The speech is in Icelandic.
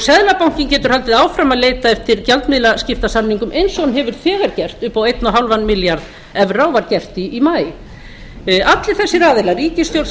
seðlabankinn getur haldið áfram að leita eftir gjaldmiðlaskiptasamningum eins og hann hefur þegar gert upp á eins og hálfan milljarð evra og var gert í maí allir þessir aðilar ríkisstjórn